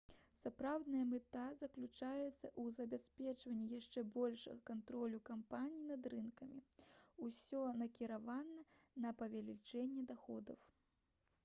сапраўдная мэта заключаецца ў забеспячэнні яшчэ большага кантролю кампаній над рынкамі усё накіравана на павелічэнне даходаў